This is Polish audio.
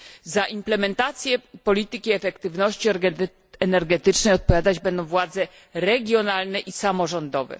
Za implementację polityki efektywności energetycznej odpowiadać będą władze regionalne i samorządowe.